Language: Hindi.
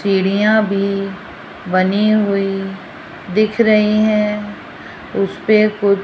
सीढ़ियां भी बनी हुई दिख रही हैं उसपे कुछ --